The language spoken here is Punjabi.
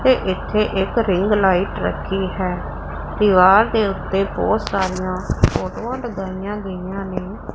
ਤੇ ਇੱਥੇ ਇੱਕ ਰਿੰਗਲਾਈਟ ਰੱਖੀ ਹੈ ਦਿਵਾਰ ਦੇ ਓੱਤੇ ਬੋਹੁਤ ਸਾਰੀਆਂ ਫ਼ੋਟੋਆਂ ਲਗਾਈਆਂ ਗਈਆਂ ਨੇਂ।